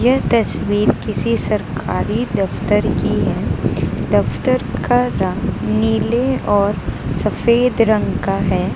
यह तस्वीर किसी सरकारी दफ्तर की है दफ्तर का रंग नीले और सफेद रंग का है।